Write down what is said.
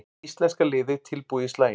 Íslenska liðið tilbúið í slaginn